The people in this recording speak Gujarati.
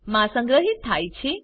મા સંગ્રહિત થાય છે